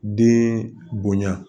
Den bonya